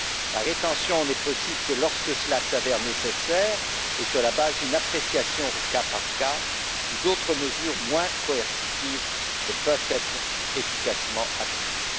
La rétention n'est possible que lorsque cela s'avère nécessaire, et sur la base d'une appréciation au cas par cas, si d'autres mesures moins coercitives ne peuvent être efficacement appliquées.